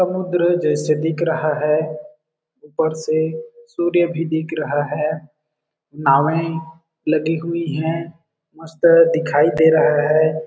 समुद्र जैसे दिख रहा है ऊपर से सूर्य भी दिख रहा है नावे लगी हुई है दिखाई दे रहा है।